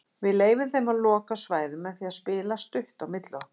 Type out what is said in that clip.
Við leyfðum þeim að loka svæðum með því að spila stutt á milli okkar.